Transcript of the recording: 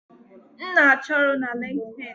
M na-achọ ọrụ na LinkedIn